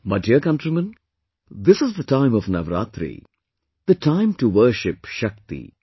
My dear countrymen, this is the time of Navratri; the time to worship Shakti